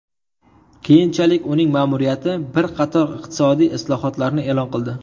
Keyinchalik uning ma’muriyati bir qator iqtisodiy islohotlarni e’lon qildi.